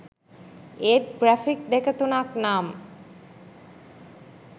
ඒත් ග්‍රැෆික් දෙක තුනක් නම්